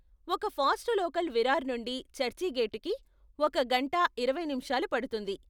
ఒక fast local Virar నుండి చర్చిగేటుకి ఒక గంట ఇరవై నిముషాలు పడుతుంది.